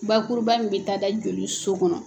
Bakuruba min bɛ taa da joli so kɔnɔ.